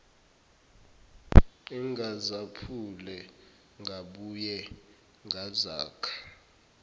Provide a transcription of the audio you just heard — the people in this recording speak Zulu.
engazaphula ngabuye ngazakha